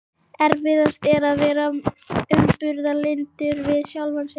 Erfiðast er að vera umburðarlyndur við sjálfan sig.